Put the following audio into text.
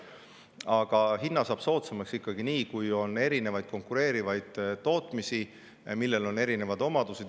Aga hinna saab soodsamaks ikkagi nii, kui on konkureerivaid tootmisi, millel on erinevad omadused.